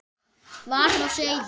var á seyði.